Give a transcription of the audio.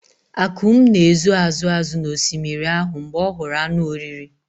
Akum na-ezo azụ azụ n'osimiri ahụ mgbe ọ hụrụ anụ oriri.